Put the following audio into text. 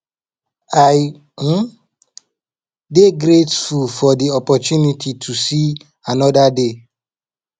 i um dey grateful for di opportunity to see anoda day